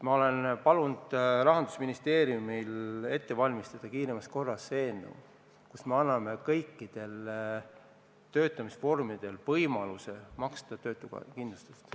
Ma olen palunud Rahandusministeeriumil kiiremas korras ette valmistada eelnõu, mille eesmärk on anda kõikide töötamisvormide puhul võimalus maksta töötuskindlustust.